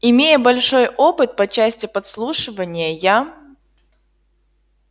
имея большой опыт по части подслушивания я